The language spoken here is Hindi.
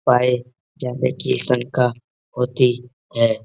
पाए जाने की संका होती है।